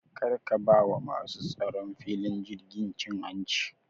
Kar ka ba wa masu tsaron filin tashin jirgi cin hanci